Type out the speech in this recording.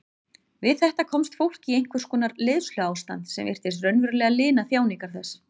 Við þetta komst fólk í einhvers konar leiðsluástand sem virtist raunverulega lina þjáningar þess.